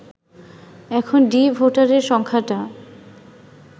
এখন ডি ভোটারের সংখ্যাটা